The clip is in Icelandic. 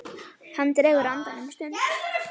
Hann dregur andann um stund.